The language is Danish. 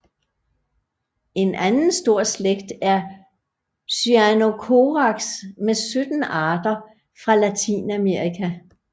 En anden stor slægt er Cyanocorax med 17 arter fra Latinamerika